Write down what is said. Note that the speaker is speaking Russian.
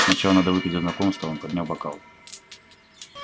сначала надо выпить за знакомство он поднял бокал